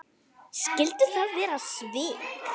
Skyldu það vera svik?